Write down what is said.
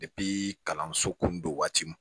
kalanso kundo waati